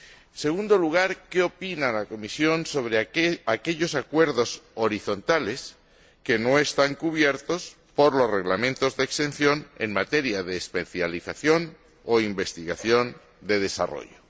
En segundo lugar ¿qué opina la Comisión sobre aquellos acuerdos horizontales que no están cubiertos por los Reglamentos de exención en materia de especialización o investigación de desarrollo?